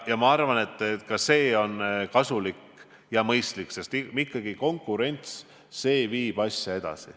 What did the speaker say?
Ma arvan, et ka see on kasulik ja mõistlik, sest ikkagi konkurents viib asja edasi.